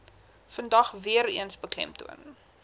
vandag weereens beklemtoon